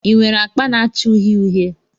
Ị nwere akpa na-acha uhie uhie?